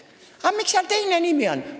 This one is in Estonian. "– "Aga miks seal teine nimi on?